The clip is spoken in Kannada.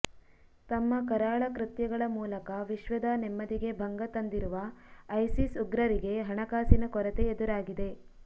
ತಮ್ಮ ಕರಾಳ ಕೃತ್ಯಗಳ ಮೂಲಕ ವಿಶ್ವದ ನೆಮ್ಮದಿಗೆ ಭಂಗ ತಂದಿರುವ ಐಸಿಸ್ ಉಗ್ರರಿಗೆ ಹಣಕಾಸಿನ ಕೊರತೆ ಎದುರಾಗಿದೆ